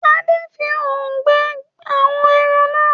Ade! fí òòrùn gbẹ àwọn èràn nà.